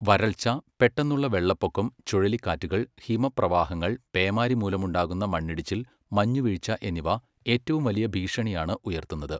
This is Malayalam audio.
വരൾച്ച, പെട്ടെന്നുള്ള വെള്ളപ്പൊക്കം, ചുഴലിക്കാറ്റുകൾ, ഹിമപ്രവാഹങ്ങൾ, പേമാരി മൂലമുണ്ടാകുന്ന മണ്ണിടിച്ചിൽ, മഞ്ഞുവീഴ്ച എന്നിവ ഏറ്റവും വലിയ ഭീഷണിയാണ് ഉയർത്തുന്നത്.